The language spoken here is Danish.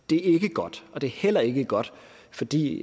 godt og det er heller ikke godt fordi